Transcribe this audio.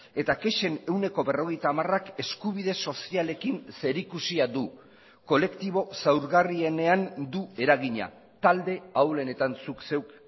eta kexen ehuneko berrogeita hamarak eskubide sozialekin zerikusia du kolektibo zaurgarrienean du eragina talde ahulenetan zuk zeuk